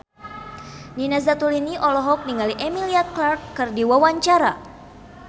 Nina Zatulini olohok ningali Emilia Clarke keur diwawancara